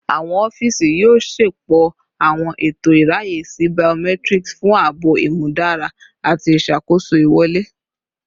Awọn ọfiisi yoo ṣepọ awọn eto iraye si biometric fun aabo imudara ati iṣakoso iwọle